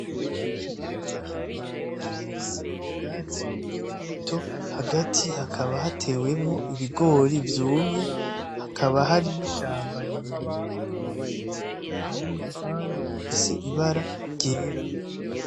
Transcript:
Ikibanza kinini gifise ubwatsi bukiri buti hagati hakaba hatewemo ibigori vyumye hakaba hari n’ishamba rirerire ririmwo ibiti n’urupangu rufise ibara ryera.